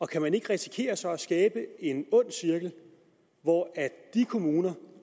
kan man ikke risikere så skaber en ond cirkel hvor de kommuner